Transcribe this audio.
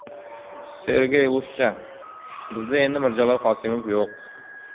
Sergey Lushchan: Bizda endi Mirjalol Qosimov yo‘q.